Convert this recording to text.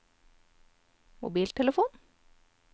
mobiltelefon